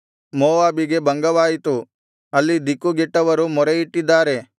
ಮೋವಾಬಿಗೆ ಭಂಗವಾಯಿತು ಅಲ್ಲಿ ದಿಕ್ಕುಗೆಟ್ಟವರು ಮೊರೆಯಿಟ್ಟಿದ್ದಾರೆ